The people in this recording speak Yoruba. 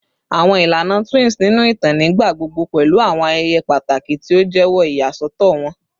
Awọn ilana twins ninu itan nigbagbogbo pẹlu awọn ayẹyẹ pataki ti o jẹwọ iyasọtọ wọn